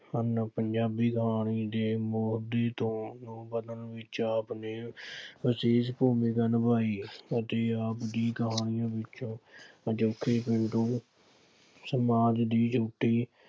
ਹਨ। ਪੰਜਾਬੀ ਕਹਾਣੀ ਦੇ ਮੋਢੀ ਤੋਂ ਰੂਪ ਬਦਲਣ ਵਿੱਚ ਆਪ ਨੇ ਵਿਸ਼ੇਸ਼ ਭੂਮਿਕਾ ਨਿਭਾਈ ਅਤੇ ਆਪ ਦੀ ਕਹਾਣੀ ਵਿੱਚ ਅਜੋਕੇ ਸਮਾਜ ਦੀ ਗਿਣਤੀ